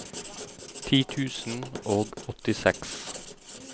ti tusen og åttiseks